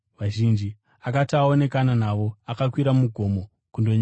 Akati aonekana navo, akakwira mugomo kundonyengetera.